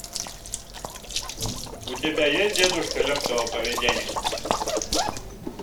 у тебя есть дедушка легкого поведения